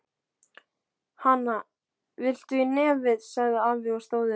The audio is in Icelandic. Hana, viltu í nefið? sagði afi og stóð upp.